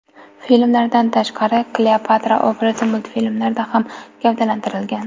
Filmlardan tashqari Kleopatra obrazi multfilmlarda ham gavdalantirilgan.